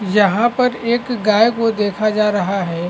यहाँ पर एक गाय को देखा जा रहा है।